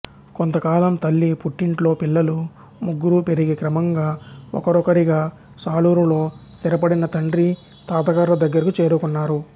కొంతకాలం తల్లి పుట్టింట్లో పిల్లలు ముగ్గురూ పెరిగి క్రమంగా ఒకరొకరిగా సాలూరులో స్థిరపడిన తండ్రి తాతగార్ల దగ్గరకు చేరుకున్నారు